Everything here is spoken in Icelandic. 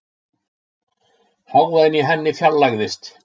Hávaðinn í henni fjarlægðist.